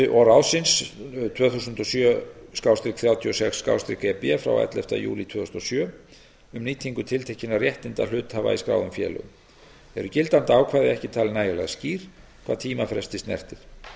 og ráðsins tvö þúsund og sjö þrjátíu og sex e b frá elleftu júlí tvö þúsund og sjö um nýtingu tiltekinna réttinda hluthafa í skráðum félögum eru gildandi ákvæði ekki talin nægilega skýr hvað tímafresti snertir